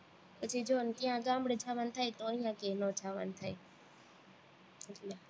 પછી જોને ત્યાં ગામડે જવાનું થાય તો અહીંયા ક્યાંય નો જાવાનું થાય એટલે